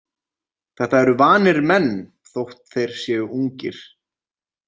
Þetta eru vanir menn þótt þeir séu ungir.